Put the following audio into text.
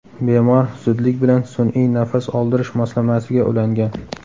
Bemor zudlik bilan sun’iy nafas oldirish moslamasiga ulangan.